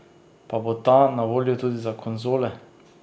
Pa bo ta na voljo tudi za konzole?